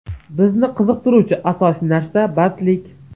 Bizni qiziqtiruvchi asosiy narsa bandlik.